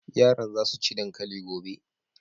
Yaran za su ci dankali gobe.